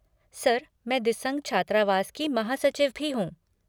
Sir, मैं दिसंग छात्रावास की महासचिव भी हूँ।